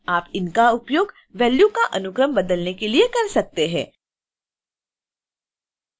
आप इनका उपयोग वैल्यू का अनुक्रम बदलने के लिए कर सकते हैं